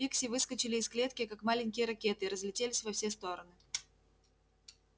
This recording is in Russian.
пикси выскочили из клетки как маленькие ракеты и разлетелись во все стороны